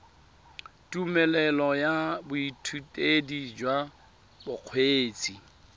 tumelelo ya boithutedi jwa bokgweetsi